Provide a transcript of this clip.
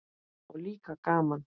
Og líka gaman.